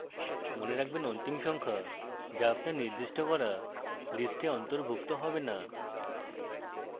মনে রাখবেন অন্তিম সংখ্যা যা আপনার নির্দিষ্ট করা list এ অন্তর্ভুক্ত হবে note